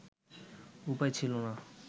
উপায় ছিল না